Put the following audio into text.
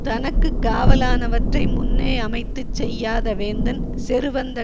தனக்கு காவலானவற்றை முன்னேயமைத்துச் செய்யாத வேந்தன் செருவந்த